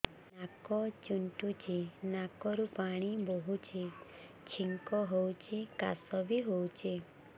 ନାକ ଚୁଣ୍ଟୁଚି ନାକରୁ ପାଣି ବହୁଛି ଛିଙ୍କ ହଉଚି ଖାସ ବି ହଉଚି